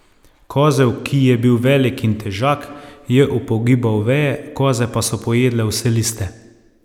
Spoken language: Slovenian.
Kozel, ki je bil velik in težak, je upogibal veje, koze pa so pojedle vse liste.